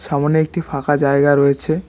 সামোনে একটি ফাঁকা জায়গা রয়েছে।